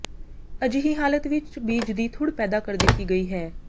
ਅਜਿਹੀ ਹਾਲਤ ਵਿਚ ਬੀਜ ਦੀ ਥੁੜ੍ਹ ਪੈਦਾ ਕਰ ਦਿੱਤੀ ਗਈ ਹੈ